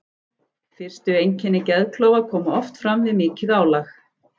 Fyrstu einkenni geðklofa koma oft fram við mikið álag.